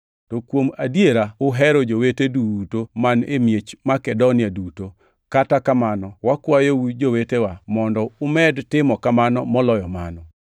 To kuom adiera uhero jowete duto man e miech Makedonia duto. Kata kamano wakwayou, jowetewa, mondo umed timo kamano moloyo mano.